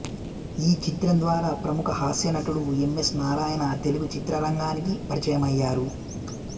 ఈ చిత్రం ద్వారా ప్రముఖ హాస్య నటుడు ఎమ్మెస్ నారాయణ తెలుగు చిత్రరంగానికి పరిచయమయ్యారు